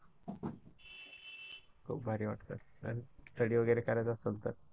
खूप भारी वाटतं, Study वगैरे करायचं असलं तर.